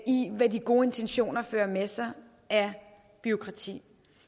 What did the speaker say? i hvad de gode intentioner fører med sig af bureaukrati